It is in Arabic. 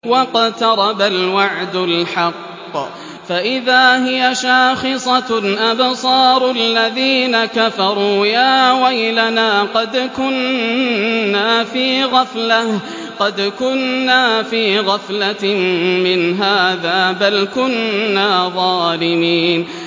وَاقْتَرَبَ الْوَعْدُ الْحَقُّ فَإِذَا هِيَ شَاخِصَةٌ أَبْصَارُ الَّذِينَ كَفَرُوا يَا وَيْلَنَا قَدْ كُنَّا فِي غَفْلَةٍ مِّنْ هَٰذَا بَلْ كُنَّا ظَالِمِينَ